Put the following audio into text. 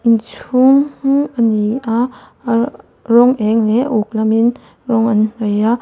inchhung ani a a rawng eng leh a uk lamin rawng an hnawih a.